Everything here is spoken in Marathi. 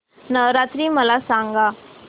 नवरात्री मला सांगा